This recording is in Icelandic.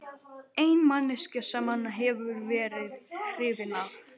Eina manneskjan sem hann hefur verið hrifinn af.